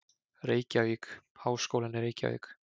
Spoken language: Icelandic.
Reykjavík: Háskólinn í Reykjavík.